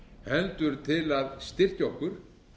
heldur til að styrkja okkur